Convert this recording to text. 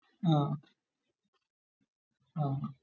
ആഹ് ആഹ്